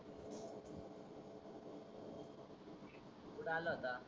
कुठ आला होता?